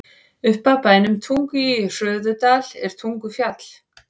Upp af bænum Tungu í Hörðudal er Tungufjall.